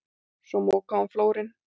Svo mokaði hún flórinn.